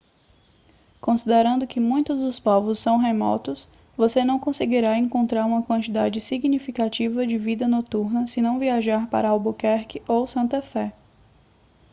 considerando que muitos dos povos são remotos você não conseguirá encontrar uma quantidade significativa de vida noturna se não viajar para albuquerque ou santa fé